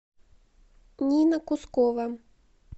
нина кускова